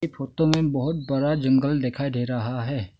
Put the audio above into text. Photo में बहुत बड़ा जंगल दिखाई दे रहा है।